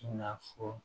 I na fɔ